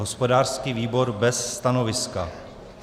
Hospodářský výbor bez stanoviska.